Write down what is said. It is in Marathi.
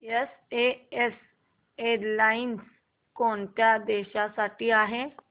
एसएएस एअरलाइन्स कोणत्या देशांसाठी आहे